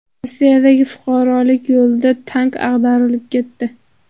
Rossiyadagi fuqarolik yo‘lida tank ag‘darilib ketdi.